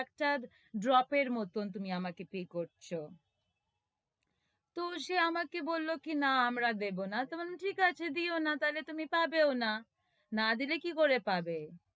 একটা drop এর মত তুমি আমাকে pay করছ তো সে আমাকে বলল কি না, না আমরা দেবো না তবে আমি ঠিক আছে দিও না তাহলে তুমি পাবেও না, না দিলে কি করে পাবে?